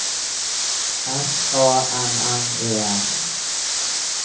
S A N N E S